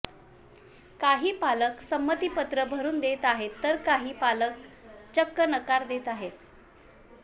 काही पालक संमतीपत्र भरून देत आहेत तर काही पालक चक्क नकार देत आहेत